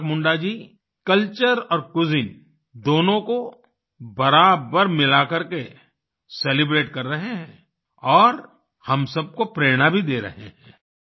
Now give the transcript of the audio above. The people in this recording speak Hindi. ईसाक मुंडा जी कल्चर और क्यूजिन दोनों को बराबर मिलाकर के सेलिब्रेट कर रहे हैं और हम सब को प्रेरणा भी दे रहे हैं